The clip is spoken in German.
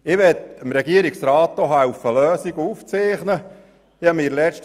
Ich möchte dem Regierungsrat Lösungen aufzuzeigen helfen.